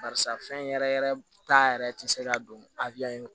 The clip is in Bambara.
Barisa fɛn yɛrɛ yɛrɛ ta yɛrɛ ti se ka don a in kɔ